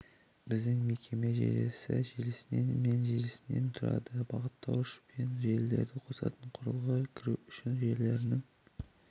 біздің мекеме желісі желісінен мен желісінен тұрады бағыттауыш бұл желілерді қосатын құрылғы кіру үшін желілерінің